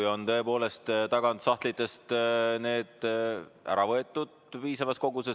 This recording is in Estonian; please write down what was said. Ju on need tõepoolest tagant sahtlitest ära võetud.